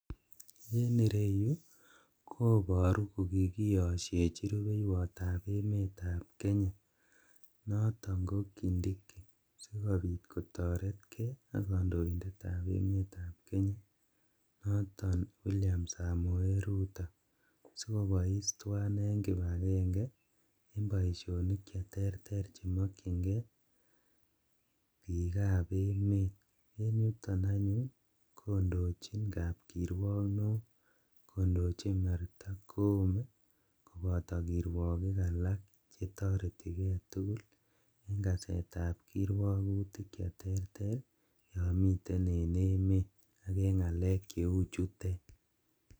En ireyu koboru kokiyosyeni rubeiwotab emetab Kenya noto ko kindiki sikobiit kotoretkei ak kandoindetab emetab Kenya noton William Samoei Ruto, sikobois tuwai en kibakenge en boisionik cheterter chemokyinkei biikab emet, en yuton anyun kondochin kapkirwok ne oo kondochin Martha Koome koboto kirwokik alak chetoretikei tugul en kaseetab kirwokutik che terter yomiten en emet ak en ngalek cheu chutet.